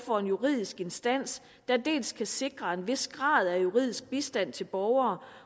for en juridisk instans der dels kan sikre en vis grad af juridisk bistand til borgere